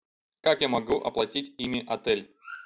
как я могу оплатить ими отель